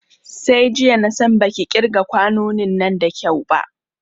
Sai jiya na san baki ƙirga kwanonin nan da kyau ba